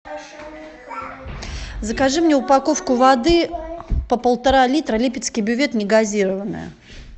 закажи мне упаковку воды по полтора литра липецкий бювет негазированная